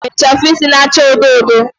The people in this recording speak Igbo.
Mary nwere ichafu isi na-acha odo odo